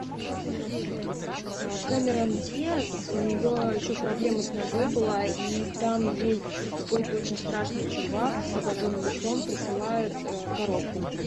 кэмерон диаз у нее еще проблема с ногой была и там ей какой то очень страшный чувак с обоженным лицом присылает коробку